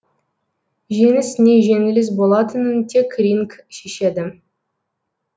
жеңіс не жеңіліс болатынын тек ринг шешеді